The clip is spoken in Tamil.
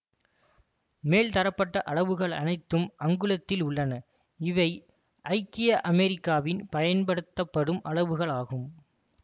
மேல் தரப்பட்ட அளவுகள் அனைத்தும் அங்குலத்தில் உள்ளன இவை ஐக்கிய அமெரிக்காவில் பயன்படுத்தப்படும் அளவுகள் ஆகும்